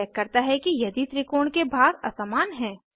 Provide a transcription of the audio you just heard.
यह चेक करता है कि यदि त्रिकोण के भाग असमान हैं